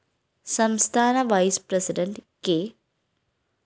സംസ്ഥാന vice president K